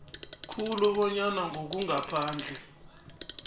khulu bonyana ngokungaphandle